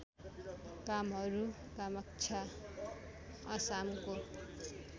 Kamru Kamakhya असामको